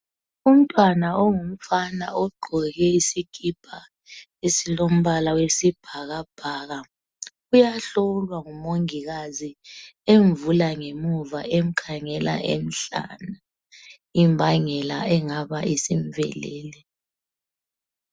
Umntwana ongumfana ogqoke isikipa esilompala wesibhakabhaka uyahlola ngumongikazi emvula ngemuva emkhangela emhlane imbangela engabe isimhlasele.